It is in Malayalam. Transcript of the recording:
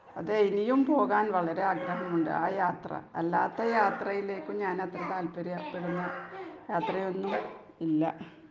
അതെ ഇനിയും പോകാൻ വളരെ ആഗ്രഹമുണ്ട് ആ യാത്ര. അല്ലാത്ത യാത്രയിലേക്ക് ഞാനത്ര താൽപര്യപ്പെടുന്ന യാത്രയൊന്നും ഇല്ല.